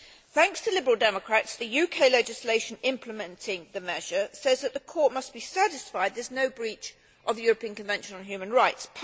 Thanks to Liberal Democrats, the UK legislation implementing the measure says that the court must be satisfied there is no breach of the European Convention on Human Rights.